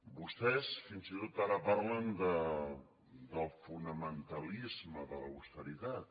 vostès fins i tot ara parlen del fonamentalisme de l’austeritat